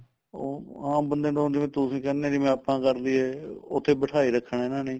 ਅਹ ਆਮ ਬੰਦੇ ਨੂੰ ਤਾਂ ਜਿਵੇਂ ਤੁਸੀਂ ਕਹਿੰਦੇ ਓ ਜਿਵੇਂ ਆਪਾਂ ਕਰਦੀਏ ਉਤੇ ਬਿਠਾਈ ਰੱਖਣਾ ਇਹਨਾ ਨੇ